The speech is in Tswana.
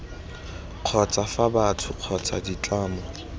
kgotsa fa batho kgotsa ditlamo